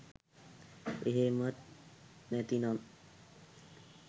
එහෙමත් නැතිනම්